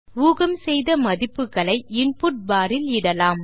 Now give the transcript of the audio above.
ஊகம் செய்த மதிப்புகளை இன்புட் பார் இல் இடலாம்